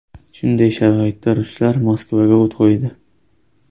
Shunday sharoitda ruslar Moskvaga o‘t qo‘ydi.